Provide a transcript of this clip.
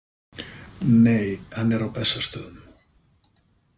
Nei, hann er á Bessastöðum.